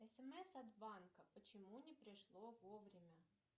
смс от банка почему не пришло вовремя